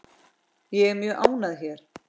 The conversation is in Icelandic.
Ég er mjög ánægð hér.